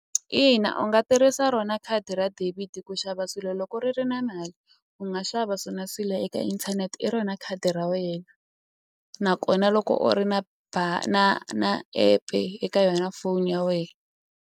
Ina u nga tirhisa rona khadi ra debit ku xava swilo loko ri ri na mali u nga xava swona swilo eka inthanete i rona khadi ra wena nakona loko u ri na na na app-e eka yona foni ya wena.